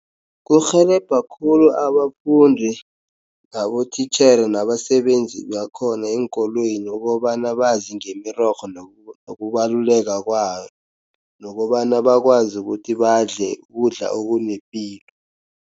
Kurhelebha khulu abafundi, nabotitjhere nabasebenzi bakhona eenkolweni, ukobana bazi ngemirorho nokubaluleka kwayo, nokobana bakwazi ukuthi badle ukudla okunepilo.